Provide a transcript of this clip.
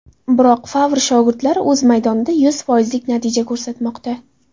Biroq Favr shogirdlari o‘z maydonida yuz foizlik natija ko‘rsatmoqda.